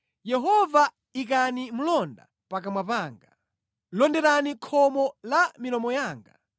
Yehova ikani mlonda pakamwa panga; londerani khomo la pa milomo yanga.